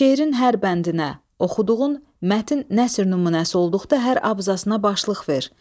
Şeirin hər bəndinə, oxuduğun mətn nəsrin nümunəsi olduqda hər abzasna başlıq ver.